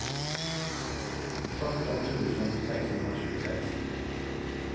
sjutton tusen sexhundratjugosex